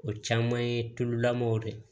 O caman ye tululamaw de ye